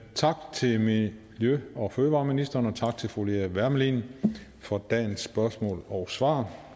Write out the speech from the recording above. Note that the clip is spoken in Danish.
tak til miljø og fødevareministeren og tak til fru lea wermelin for dagens spørgsmål og svar